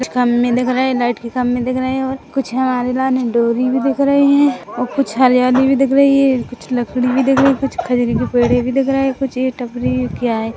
कुछ खंभे दिख रहै लाइट के खंभे दिख रहै हैं और कुछ हमारी लाने डोरी भी दिख रही है और कुछ हरियाली भी दिख रही है कुछ लकड़ी भी दिख रही है कुछ पेड़े भी दिख रहै हैं कुछ टपरी ये क्या है?